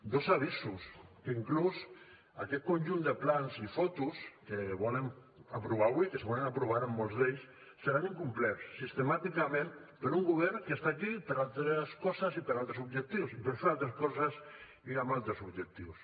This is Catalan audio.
dos avisos que inclús aquest conjunt de plans i fotos que volen aprovar avui que segurament aprovaran molts d’ells seran incomplerts sistemàticament per un govern que està aquí per a altres coses i per a altres objectius i per fer altres coses i amb altres objectius